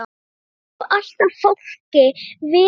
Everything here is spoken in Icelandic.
Þetta hefur alltaf fálki verið.